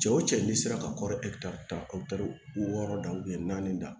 Cɛ wo cɛ n'i sera ka kɔrɔ ta wɔɔrɔ da naani da